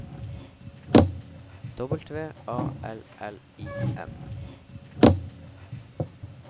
W A L L I N